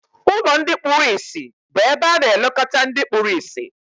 Ụlọ ndị kpụrụ ịsị bu ebe ana elekota ndị kpụrụ ịsị.